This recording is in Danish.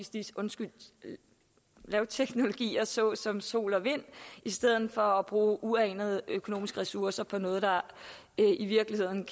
lavteknologier såsom sol og vind i stedet for at bruge uanede økonomiske ressourcer på noget der virkelig